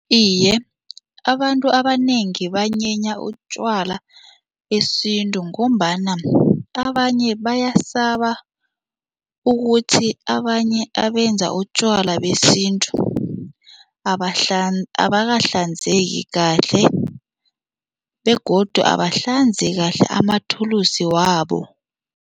Iye, abantu abanengi banyenya utjwala besintu ngombana abanye bayasaba ukuthi abanye abenza utjwala besintu abakahlanzeki kahle begodu abahlanzi kahle amathulusi wabo.